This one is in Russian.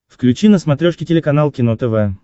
включи на смотрешке телеканал кино тв